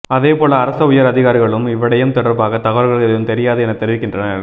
அதே போல அரச உயர் அதிகாரிகளும் இவ்விடயம் தொடர்பாக தகவல்கள் எதுவும் தெரியாது எனத் தெரிவிக்கின்றனர்